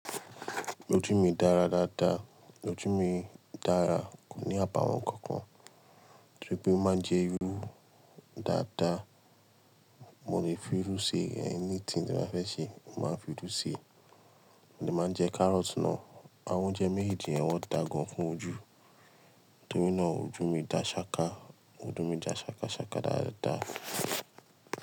Ojú mi dára dáadáa, ojú mi dára, kò ní àbáwọ́n nǹkan kan, tori pé mo máa ń jẹ́ irú dáadáa, mo lè fi irú ṣe ẹni tí mo fẹ́ ṣe, mo máa ń fi rú ṣe, mo dè máa jẹ kárọ́tì náà, àwọn oúnjẹ mejeéjì yẹn wọ́n dà gan fún ojú, torí náà ojú mi dà ṣáka, ojú mi dà ṣákáṣáká dáadáa.